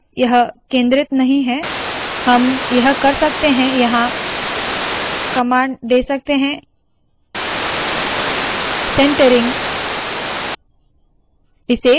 यह केंद्रित नहीं है हम यह कर सकते है के यहाँ कमांड दे सकते है centering